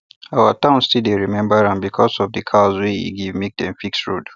our town still dey remember am because of the cows wey e give make dem fix road